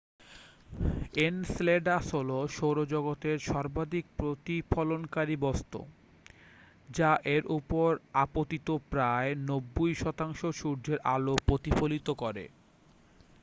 Enceladus হলো সৌরজগতের সর্বাধিক প্রতিফলনকারী বস্তু যা এর ওপর আপতিত প্রায় 90 শতাংশ সূর্যের আলো প্রতিফলিত করে